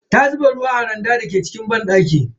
Ta zuba ruwa a randan da ke cikin banɗaki.